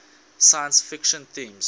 science fiction themes